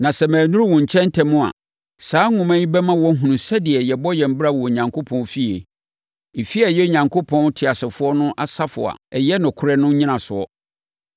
Na sɛ mannuru wo nkyɛn ntɛm a, saa nwoma yi bɛma woahunu sɛdeɛ yɛbɔ yɛn bra wɔ Onyankopɔn fie. Efie a ɛyɛ Onyankopɔn teasefoɔ no asafo a ɛyɛ nokorɛ no nnyinasoɔ.